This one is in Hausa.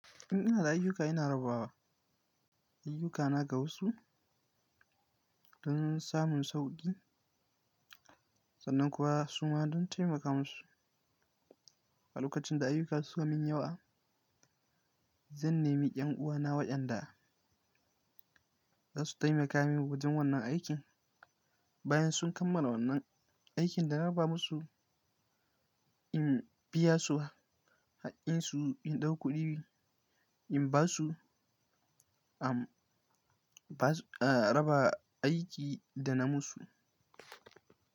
In ina da ayyuka ina raba wa ayyukana ga wasu don samun sauƙi sannan kuwa su ma don taimaka musu. A lokacin da ayyuka su fi min yawa, zan nemi 'yan uwana waɗanda za su taimaka min wajen wannan aikin. Bayan sun kammala wannan aikin da na raba musu, in biya su haƙƙinsu in ɗau kuɗi in ba su, raba aiki da na musu.